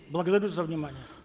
благодарю за внимание